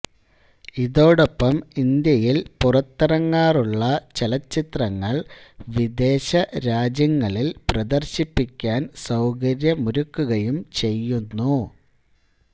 ഇതോടൊപ്പം ഇന്ത്യയിൽ പുറത്തിറങ്ങാറുള്ള ചലച്ചിത്രങ്ങൾ വിദേശരാജ്യങ്ങളിൽ പ്രദർശിപ്പിക്കാൻ സൌകര്യമൊരുക്കുകയും ചെയ്യുന്നു